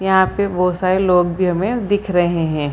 यहां पे बहोत सारे लोग भी हमें दिख रहे हैं।